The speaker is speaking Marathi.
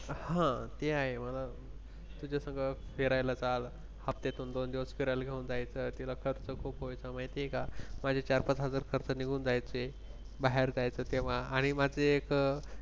हा ते आहे मला तिच्या संग फिरायला चाल. हप्त्यातून दोन दिवस फिरायला घेऊन जायचं, तिला खर्च खूप पैसा माहिती आहे का माझ्या चार-पाच हजार खर्च निघून जायचे बाहेर जायचं तेव्हा आणि माझे एक